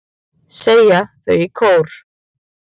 segja þau í kór.